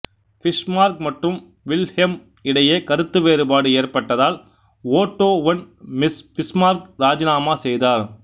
Bismarck மற்றும் Wilhelm இடையே கருத்து வேறுபாடு ஏற்பட்டதால் ஓட்டோ வொன் பிஸ்மார்க் ராஜினாமா செய்தார்